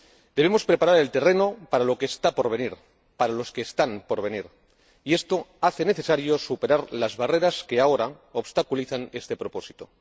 Debemos preparar el terreno para lo que está por venir, para los que están por venir, y esto hace necesario superar las barreras que ahora obstaculizan este propósito.